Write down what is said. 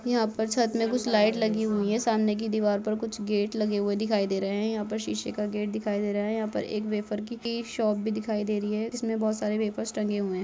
यहाँ पर छत में कुछ लाइट लगी हुई है सामने की दिवार पे कुछ गेट लगे हुए दिखाई दे रहे है यहाँ पर शीशे का गेट दिखाई दे रहा है यहां पर वेफर की एक शॉप भी दिखाई दे रही है जिसमें बहोत सारे वेफर्स टंगे हुए है।